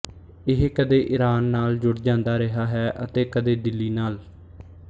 ਇਹ ਕਦੇ ਈਰਾਨ ਨਾਲ ਜੁੜ ਜਾਂਦਾ ਰਿਹਾ ਹੈ ਅਤੇ ਕਦੇ ਦਿੱਲੀ ਨਾਲ